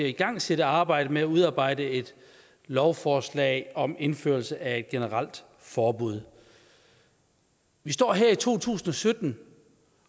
igangsætte arbejdet med at udarbejde et lovforslag om indførelse af et generelt forbud vi står her i to tusind og sytten